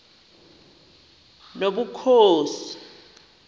nobukhosi